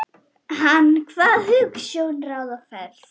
Hann kvað hugsjón ráða ferð.